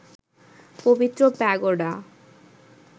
পবিত্র প্যাগোডা